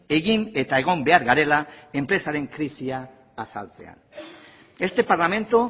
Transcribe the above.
egin eta egon behar garela enpresaren krisia azaltzean este parlamento